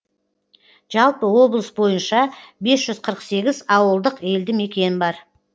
жалпы облыс бойынша бес жүз қырық сегіз ауылдық елді мекен бар